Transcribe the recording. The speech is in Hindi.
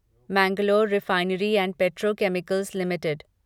Mangalore refinery and petrochemicals limited